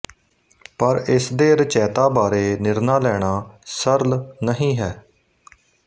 ਪਰ ਇਸ ਦੇ ਰਚੈਤਾ ਬਾਰੇ ਨਿਰਣਾ ਲੈਣਾ ਸਰਲ ਨਹੀਂ ਹੈ